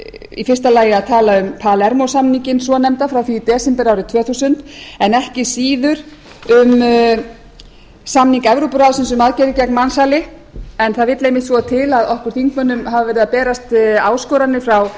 í fyrsta lagi að tala um palermosamninginn svonefnda frá því í desember árið tvö þúsund en ekki síður um samning evrópuráðsins um aðgerðir gegn mansali en það vill einmitt svo til að okkur þingmönnum hafa verið að berast áskoranir frá